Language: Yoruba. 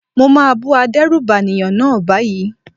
Mo máa bú adérùbànìyàn náà báyìí.